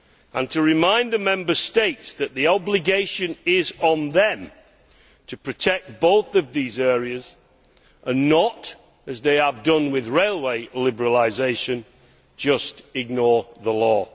and to remind the Member States that the obligation is on them to protect both of these areas and not, as they have done with railway liberalisation, just to ignore the law.